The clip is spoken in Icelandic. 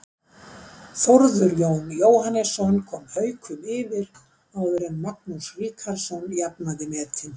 Þórður Jón Jóhannesson kom Haukum yfir áður en Magnús Ríkharðsson jafnaði metin.